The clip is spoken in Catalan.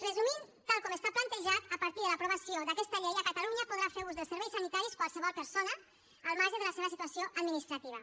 resumint tal com està plantejat a partir de l’aprovació d’aquesta llei a catalunya podrà fer ús dels serveis sanitaris qualsevol persona al marge de la seva situació administrativa